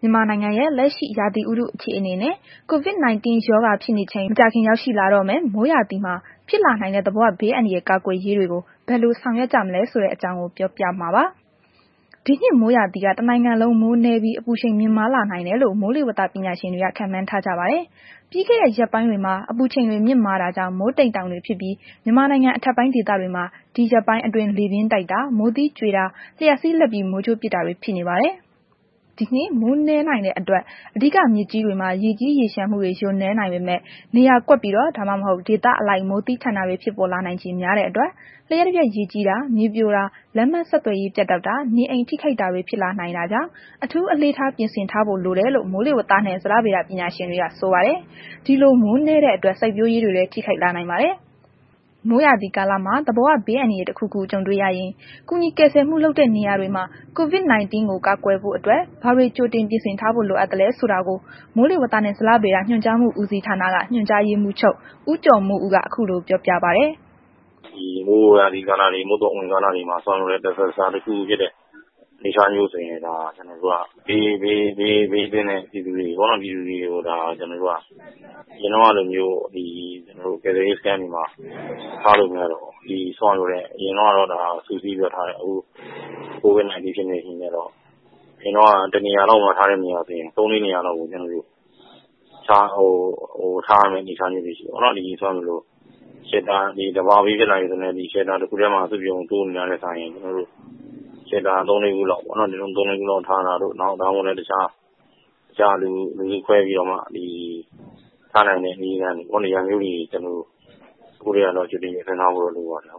မြန်မာနိုင်ငံရဲ့လက်ရှိ ရာသီဥတုအခြေအနေနဲ့ COVID-19 ရောဂါဖြစ်နေချိန်မကြာခင်ရောက်ရှိတော့မယ့် မိုးရာသီမှာ ဖြစ်လာနိုင်တဲ့ သဘာဝဘေးအန္တရာယ်ကာကွယ်ရေးတွေကို ဘယ်လို ဆောင်ရွက်ကြမလဲဆိုတဲ့ အကြောင်းကို ပြောပြမှာပါ။ ဒီနှစ်မှာ မိုးရာသီက တစ်နိုင်ငံလုံး မိုးနည်းပြီး အပူချိန်မြင့်မားနိုင်တယ်လို့ မိုးလေဝသ ပညာရှင်တွေက ခန့်မှန်းထားကြပါတယ်။ ပြီးခဲ့တဲ့ ရက်ပိုင်းတွေမှာ အပူချိန်တွေမြင့်တာကြောင့် မိုးတိမ်တောင်တွေဖြစ်ပြီး မြန်မာနိုင်ငံ အထက်ပိုင်း ဒေသတွေမှာ ဒီရက်ပိုင်းအတွင်း လေပြင်းတိုက်တာ၊ မိုးသီးကြွေတာ၊ လျှပ်စီးလက်ပြီး မိုးကြိုးပစ်တာတွေ ဖြစ်နေပါတယ်။ ဒီနှစ် မိုးနည်းနိုင်တဲ့ အတွက် အဓိက မြစ်ကြီးတွေမှာ ရေကြီးရေလျှံမှုတွေ လျော့နည်းနိုင်ပေမယ့် နေရာကွက်ပြီးတော့ ဒါမှမဟုတ် ဒေသအလိုက် မိုးသည်းထန်တာတွေ ဖြစ်ပေါ်လာနိုင်ချေများတဲ့အတွက် လျှပ်တပြတ် ရေကြီးတာ၊ မြေပြိုတာ၊ လမ်းပန်းဆက်သွယ်ရေး ပြတ်တောက်တာ၊ နေအိမ် ထိခိုက်တာတွေ ဖြစ်လာနိုင်တဲ့အတွက် အထူးအလေးထား ပြင်ဆင်ထားဖို့လိုတယ်လို့ မိုးလေဝသ ပညာရှင်တွေက ဆိုပါတယ်။ ဒီလို မိုးနည်းတဲ့ အတွက် စိုက်ပျိုးရေးတွေလည်း ထိခိုက်လာနိုင်ပါတယ်။ မိုးရာသီကာလမှာ သဘာဝ ဘေးအန္တရာယ် တစ်ခုခု ကြုံတွေ့ရရင် ကူညီကယ်ဆယ်မှုလုပ်တဲ့နေရာ တွေမှာ COVID-19 ကို ကာကွယ်ဖို့ အတွက် ဘာတွေကြိုတင်ပြင်ဆင်ထားဖို့လိုအပ်သလဲ ဆိုတာကို မိုးလေဝသနှင့် ဇလဗေဒ ညွှန်ကြားမှု ဦးစီးဌာနက ညွှန်ကြားရေးမှူးချုပ် ဦးကျော်မိုးဦးက အခုလို ပြောပြပါတယ်။ “ဒီမိုးရာသီ ကာလတွေ မုတ်သုန် အဝင်ကာလတွေမှာ တစ်ခုခု ဖြစ်တဲ့ အနေအထားဆိုရင် ကျနော်တို့က ဒီ ဘေးသင့်တဲ့ ပြည်သူတွေကို ကျနော်တို့က အရင်တုန်းက လိုမျိုး ဒီ ကယ်ဆယ်ရေး စခန်းတွေမှာထားလို့ မရတော့ပါဘူး။ အရင်ကတော့ စုစည်းပြီးတော့ထားတယ် ခု COVID-19 ဖြစ်နေတဲ့ အခါကျတော့ အရင်က တစ်နေရာတည်းထားလို့ရတာကို ခုကျ ၃၊ ၄ နေရာလောက် ခွဲပြီး ထားရမယ့် အနေအထားမျိုးဖြစ်နေတယ်ပေါ့နှော်။ သဘာဝဘေး ဖြစ်လာပြီဆိုရင် အဆောက်အဦး တစ်ခုတည်းမှာ စုပြုံတိုးနေတာနဲ့ စာရင် ၃၊ ၄ ခုလောက်ထားတာတို့ အခြား လူစုခွဲပြီးတော့မှ ထားနိုင်တဲ့ နေရာမျိုးလေးတွေ ခုကတည်းက ကြိုတင်ပြင်ဆင်ထားဖို့တော့ လိုပါတယ်”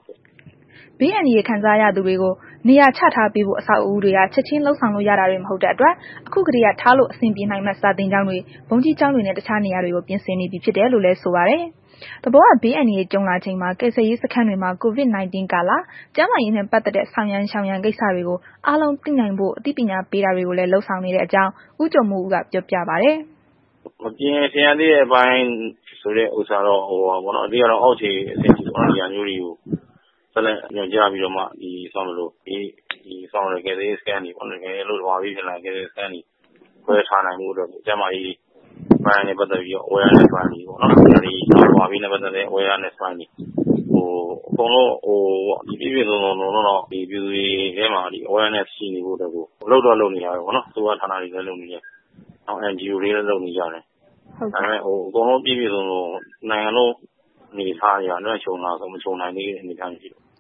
ဘေးအန္တရယ် ခံစားရသူတွေကို နေရာချထားပေးဖို့ အဆောက်အဦးတွေက ချက်ချင်းလုပ်ဆောင်လို့ ရတာတွေ မဟုတ်တဲ့အတွက် ခုကတည်းက ထားလို့ အဆင်ပြေနိုင်မယ့် စာသင်ကျောင်းတွေ၊ ဘုန်းကြီးကျောင်းတွေနဲ့ အခြားနေရာတွေကို ပြင်ဆင်နေပြီ ဖြစ်တယ်လို့လည်း ဆိုပါတယ်။ သဘာဝဘေးအန္တရာယ်တွေ ကြုံလာချိန်မှာ ကယ်ဆယ်ရေးစခန်းတွေမှာ COVID-19 ကာလ ကျန်းမာရေးနှင့် ပတ်သက်တဲ့ ဆောင်ရန် ရှောင်ရန် ကိစ္စတွေကို အားလုံးသိနိုင်စေဖို့ အသိပညာပေးတာတွေကိုလည်း လုပ်ဆောင်နေတဲ့အကြောင်း ဦးကျော်မိုးဦးက ပြောပြပါတယ်။ “မပြင်ဆင်ရသေးတဲ့ အပိုင်းဆိုတာမျိုးက ဘာလဲဆိုတော့ အောက်ခြေထိကို ညွှန်ကြားပြီးတော့ ဒီကယ်ဆယ်၇ေးစခန်းတွေကို သဘာဝဘေးဖြစ်လာရင် စခန်းတွေခွဲထားနိုင်ဖို့ကို ကျန်းမာရေးပိုင်းနှင့် ပတ်သက်ပြီးတော့ အသိရှိကြဖို့အတွက်ကိုပေါ့ နောက် သဘာဝဘေးနှင့် ပတ်သက်တဲ့ အသိတွေပေါ့၊ အကုန်လုံး ပြည်ပြည့်စုံစုံ လုံလုံလောက်လောက် ပြည်သူတွေအထဲမှာ အသိရှိနေဖို့ကို လုပ်တော့ လုပ်နေတာပဲပေါ့နော်။ အစိုးရဌာနတွေလည်းလုပ်နေတယ်၊ NGO တို့ INGO တို့လည်း လုပ်နေကြတယ်ပေါ့နော်။ အကုန်လုံးပြည့်ပြည့်စုံစုံ တစ်နိုင်ငံလုံး လွမ်းခြုံလားဆိုတော့ မခြုံနိုင်သေးဘူး။”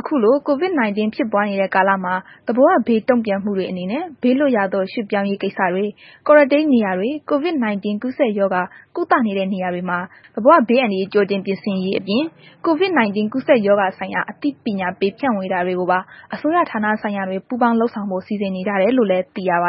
အခုလို COVID-19 ဖြစ်ပွားနေတဲ့ ကာလမှာ သဘာဝဘေး တုံ့ပြန်မှုတွေ အနေနဲ့ ဘေးလွတ်ရာသို့ ရွှေ့ပြောင်းရေး ကိစ္စတွေ၊ Quarantine နေရာတွေ၊ COVID-19 ကူးစက်ရောဂါ ကုသနေတဲ့ နေရာတွေမှာ သဘာဝဘေးအန္တရာယ်ကြိုတင်ပြင်ဆင်ရေးနဲ့အပြင် Covid 19 ကူးစက်ရောဂါဆိုင်ရာ အသိဖြန့်ဝေမှုတွေကိုပါ အစိုးရဌာနဆိုင်ရာတွေ ပူးပေါင်းလုပ်ဆောင်ဖို့ စီစဉ်နေတယ်လို့လည်း သိရပ